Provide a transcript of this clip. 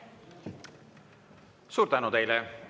Suur tänu teile!